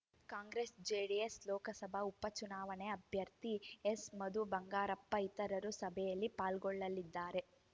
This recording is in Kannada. ಕಾಂಗ್ರೆಸ್‌ ಜೆಡಿಎಸ್‌ ಲೋಕಸಭಾ ಉಪಚುನಾವಣೆ ಅಭ್ಯರ್ಥಿ ಎಸ್‌ಮಧು ಬಂಗಾರಪ್ಪ ಇತರರು ಸಭೆಯಲ್ಲಿ ಪಾಲ್ಗೊಳ್ಳಲಿದ್ದಾರೆ